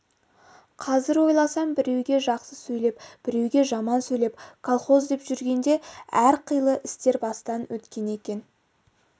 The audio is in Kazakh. қазір ойласам біреуге жақсы сөйлеп біреуге жаман сөйлеп колхоз деп жүргенде әр қилы істер бастан өткен екен